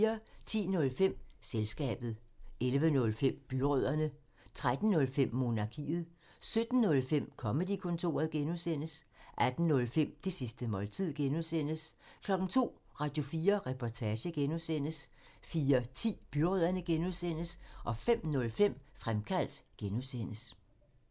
10:05: Selskabet 11:05: Byrødderne 13:05: Monarkiet 17:05: Comedy-kontoret (G) 18:05: Det sidste måltid (G) 02:00: Radio4 Reportage (G) 04:10: Byrødderne (G) 05:05: Fremkaldt (G)